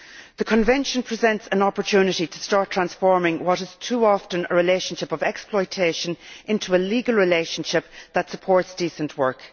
The Convention presents an opportunity to start transforming what is too often a relationship of exploitation into a legal relationship that supports decent work.